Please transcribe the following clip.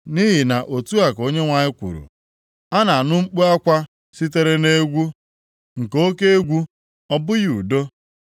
“Nʼihi na otu a ka Onyenwe anyị kwuru, “ ‘A na-anụ mkpu akwa sitere nʼegwu, nke oke egwu, ọ bụghị udo.